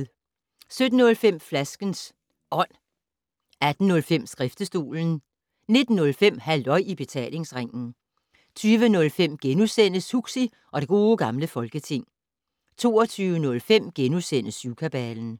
17:05: Flaskens Ånd 18:05: Skriftestolen 19:05: Halløj i Betalingsringen 20:05: Huxi og det Gode Gamle Folketing * 22:05: Syvkabalen *